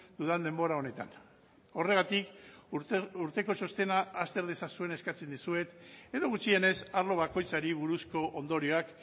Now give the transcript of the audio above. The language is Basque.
dudan denbora honetan horregatik urteko txostena azter dezazuen eskatzen dizuet edo gutxienez arlo bakoitzari buruzko ondorioak